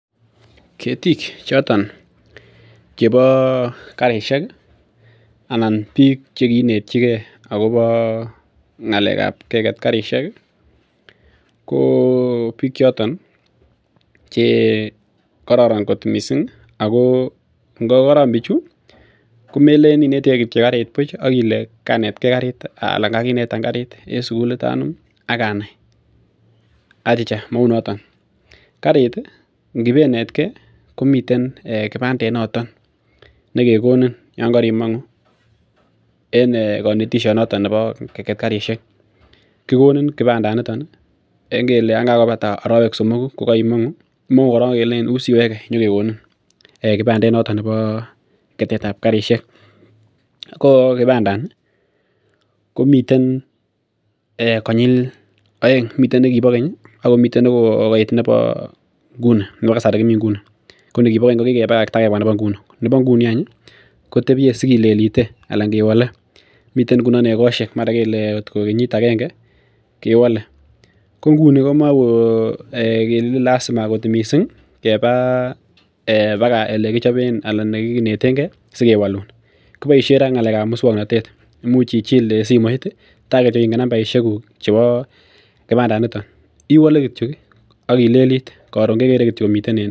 Ketiik chotoon chebo karisheek anan biik che kinetyikei agobo keger karisheek ii ko biik chotoon che kororon kot missing ko ingo kororon bichuu ko melen kityoi inetikei kariit buuch akile kaginetaan kariit en sugul liit anum acha mauu notoon kariit inibenetkei komii kibandeet noton nekekonin yaan karimanguing en kanetisiet notoon nebo kegeet karisheek kigonin kibandeet nitoon kele yaan kagobataa aroweek somokuu imanguu korong kelechiin korong wui siwegei inyokekonin kibandeet notoon nebo ketet ab karisheek ko kibandeet ni komiteen eeh konyil aeng miten nikibo keeny ako miten nebo nguni nebo kasari ko nikibo keeny ko kikebakaktai Mii nebo nguni kotebiyee sikilelitee anan kewale miten ngunoon egosiek mara koot ko kenyiit agengee kewale ko nguni komae kelen lazima missing keba eeh elekichapeen anan elekineten gei sikewaluun kiboisien ra ngalek ab musangnatet imuuch ichiil en simoit ii taa kityoi ingeen nambarisheek guug chebo kibandeet nitoon iwale kityoi ak ileleliit koroon kegere kityoi.